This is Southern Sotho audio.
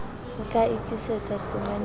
o ka ikisetsa samane ka